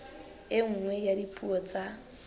e nngwe ya dipuo tsa